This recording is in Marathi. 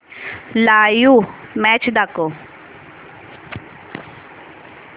लाइव्ह मॅच दाखव